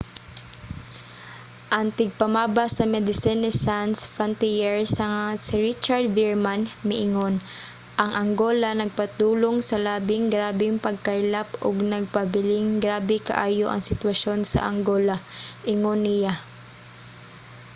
ang tigpamaba sa medecines sans frontiere nga si richard veerman miingon: ang angola nagpadulong sa labing grabeng pagkaylap ug nagpabilinng grabe kaayo ang sitwasyon sa angola, ingon niya